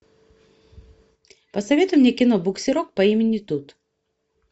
посоветуй мне кино буксирок по имени тут